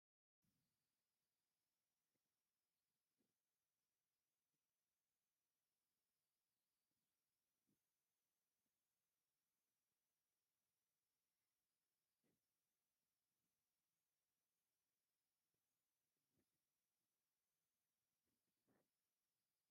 ጀርዲን ወይ መሬት ሕርሻ ኣብ ዝለምዕሉ እዋን፡ "ኮር" ዝበሃል መሳርሒ ንሕርሻ ይጥቀመሉ። እቲ መሳርሒ ዕንጨይቲ መትሓዚ ዘለዎ ኮይኑ መሬት ንምኹዓትን ንምምዕርራይን ይጥቀመሉ። ስለምንታይ ኣብ ገጠር ብሰፊሑ ይጥቀመሉ?